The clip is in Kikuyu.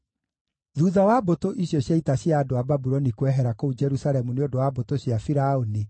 Thuutha wa mbũtũ icio cia ita cia andũ a Babuloni kwehera kũu Jerusalemu nĩ ũndũ wa mbũtũ cia Firaũni,